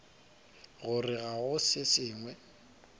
gore ga go se sengwe